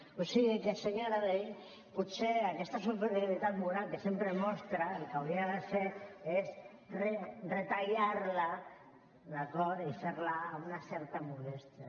o sigui que senyora vehí potser aquesta superioritat moral que sempre mostra el que hauria de fer és retallar la d’acord i fer la amb una certa modèstia